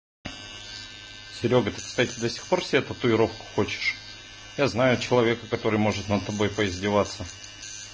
серёга ты кстати до сих пор себе татуировку хочешь я знаю человека который может над тобой поиздеваться